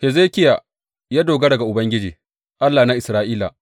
Hezekiya ya dogara ga Ubangiji, Allah na Isra’ila.